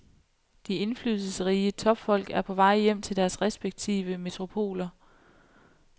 De indflydelsesrige topfolk er på vej hjem til deres respektive metropoler.